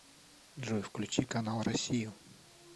джой включи канал россию